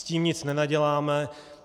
S tím nic nenaděláme.